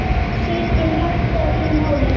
Setjum hjartað í málið.